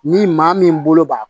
Ni maa min bolo b'a